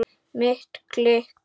Mitt klikk?